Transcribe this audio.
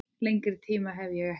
Lengri tíma hef ég ekki.